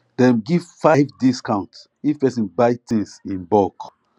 dem give five discount if person buy things in bulk